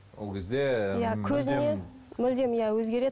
ол кезде көзіне мүлдем иә өзгереді